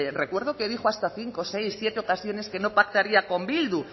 recuerdo que dijo hasta cinco seis siete ocasiones que no pactaría con bildu